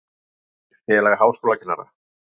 Heimildir Félag háskólakennara.